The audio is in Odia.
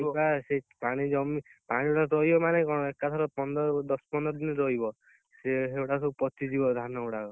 ପାଣି ଜମି ପାଣି ଗୁଡା ରହିବ ମାନେ କଣ ଏକାଥରେ ପନ୍ଦର ଦଶ ପନ୍ଦର ଦିନ ରହିବ ସେଗୁଡା ସବୁ ପଚିଯିବ ଧାନ ଗୁଡାକ